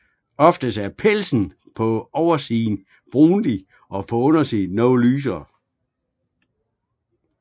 Oftest er pelsen på oversiden brunlig og på undersiden noget lysere